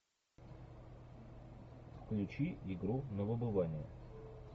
включи игру на выбывание